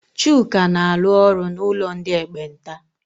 Chuka na-alụ ọrụ n'ụlọ ndị ekpenta.